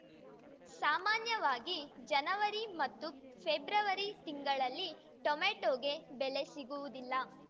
ಸಾಮಾನ್ಯವಾಗಿ ಜನವರಿ ಮತ್ತು ಫೆಬ್ರವರಿ ತಿಂಗಳಲ್ಲಿ ಟೊಮೆಟೋಗೆ ಬೆಲೆ ಸಿಗುವುದಿಲ್ಲ